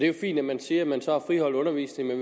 jo fint at man siger at man så har friholdt undervisningen